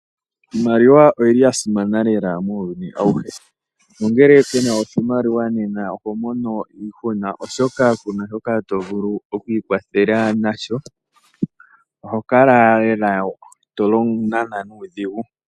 Iimaliwa oyili yasimana lela muuyuni awuhe. Ngele kuna oshimaliwa oho mono iihuna oshoka kuna shoka to vulu okwiikwathela nasho oho kala lela to nana nuudhigu.